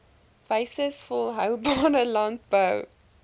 wyses volhoubare landbou